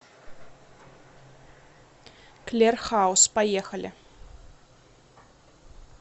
клер хаус поехали